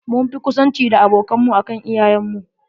Mun fi ƙusanci da abokan mu akan iyayen mu.